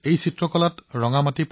দৰাচলতে কাভৰ অৰ্থ হৈছে ৰঙা মাটি